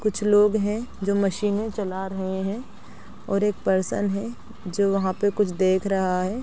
कुछ लोग है जो मशीन चला रहे है और एक पर्सन है जो वहां पे कुछ देख रहा है।